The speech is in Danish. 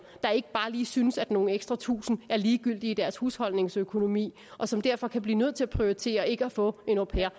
der ikke bare lige synes at nogle ekstra tusinde er ligegyldige i deres husholdningsøkonomi og som derfor kan blive nødt til at prioritere ikke at få en au pair